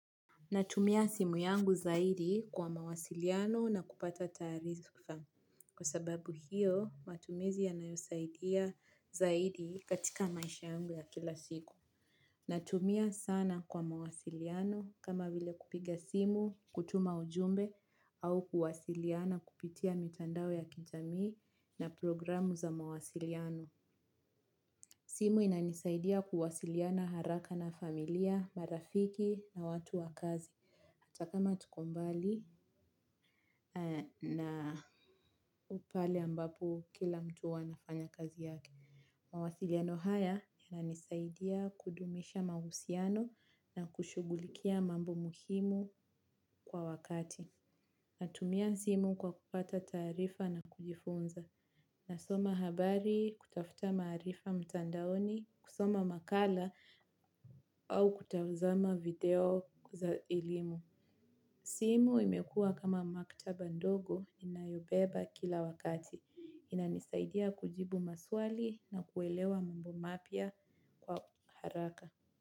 Natumia simu yangu zaidi, kwa mawasiliano na kupata taarifa. Kwa sababu hiyo matumizi yanayosaidia zaidi, katika maisha yangu ya kila siku. Natumia sana kwa mawasiliano, kama vile kupiga simu, kutuma ujumbe au kuwasiliana kupitia mitandao ya kijamii na programu za mawasiliano. Simu inanisaidia kuwasiliana haraka na familia, marafiki na watu wa kazi. Takama tukombali na aupale ambapo, kila mtu huwa anafanya kazi yake. Mawasiliano haya yananisaidia kudumisha mahusiano na kushughulikia mambo muhimu, kwa wakati. Natumia simu kwa kupata taarifa na kujifunza. Nasoma habari, kutafuta maarifa mtandaoni, kusoma makala au kutazama video za elimu. Timu imekua kama maktaba ndogo, inayobeba kila wakati. Inanisaidia kujibu maswali na kuelewa mambo mapya, kwa haraka.